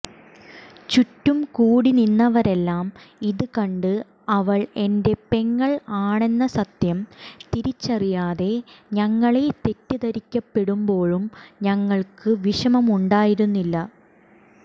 ചുറ്റും കൂടി നിന്നവരെല്ലാം ഇത് കണ്ട് അവൾ എന്റെ പെങ്ങൾ ആണെന്ന സത്യം തിരിച്ചറിയാതെ ഞങ്ങളെ തെറ്റിദ്ധരിക്കപ്പെടുമ്പോഴും ഞങ്ങൾക്ക് വിഷമമുണ്ടായിരുന്നില്ല